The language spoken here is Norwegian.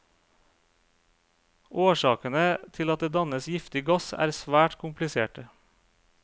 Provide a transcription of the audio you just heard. Årsakene til at det dannes giftig gass er svært kompliserte.